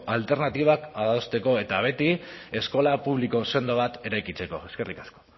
alternatibak adosteko eta beti eskola publiko sendo bat eraikitzeko eskerrik asko